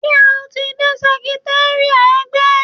Ṣé o ti dé sẹkritéríátì ẹgbẹ́?